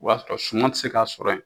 O y'a sɔrɔ suman tɛ se ka sɔrɔ yen.